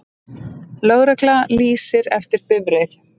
Lögregla lýsir eftir bifreið